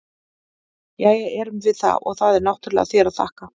Jæja, erum við það, og það er náttúrlega þér að þakka!